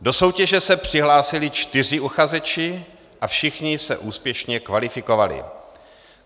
Do soutěže se přihlásili čtyři uchazeči a všichni se úspěšně kvalifikovali.